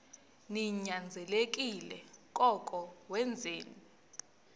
ninyanzelekile koko wenzeni